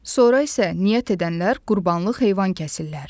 Sonra isə niyyət edənlər qurbanlıq heyvan kəsirlər.